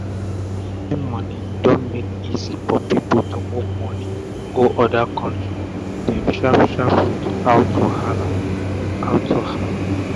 online moni don make easy for pipu to move moni go oda country dem sharp sharp wit out wahala out wahala um